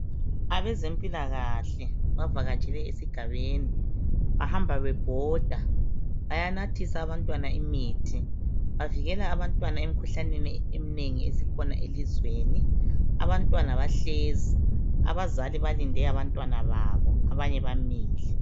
Abezempilakahle bavaketshele esigabeni bahamba bebhoda bayanathisa abantwana imithi. Bavikela abantwana emkhuhlaneni eminengi esikhona elizweni. Abantwana bahlezi abazali balinde abantwana babo abanye bamile.